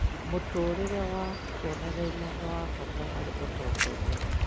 mũtũũrĩre wa kĩonereria nĩ wa bata harĩ ũtongoria.